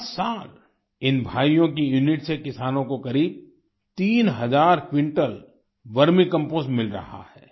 हर साल इन भाइयों की यूनिट से किसानों को करीब तीन हजार क्विंटल वर्मी कंपोस्ट मिल रहा है